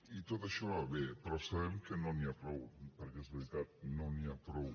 i tot això va bé però sabem que no n’hi ha prou perquè és veritat no n’hi ha prou